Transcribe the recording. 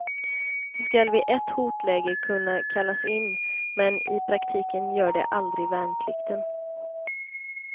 De skall vid ett hotläge kunna kallas in, men i praktiken gör de aldrig värnplikten.